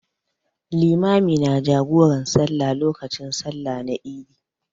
Limami na jagoran sallah lokacin sallah na Eid.